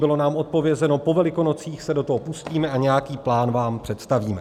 Bylo nám odpovězeno - po Velikonocích se do toho pustíme a nějaký plán vám představíme.